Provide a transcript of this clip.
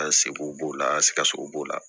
An seko b'o la an sikaso b'o la